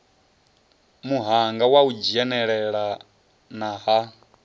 muhanga wa u dzhenelelana ha